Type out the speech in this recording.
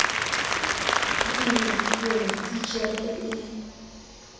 le ho rutweng titjhere e